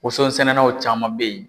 Woson sɛnɛnaw caman be yen